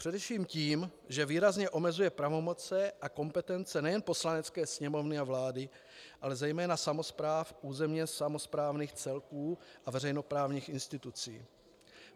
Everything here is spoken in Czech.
Především tím, že výrazně omezuje pravomoci a kompetence nejen Poslanecké sněmovny a vlády, ale zejména samospráv územně samosprávných celků a veřejnoprávních institucí.